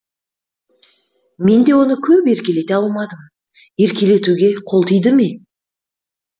мен де оны көп еркелете алмадым еркелетуге қол тиді ме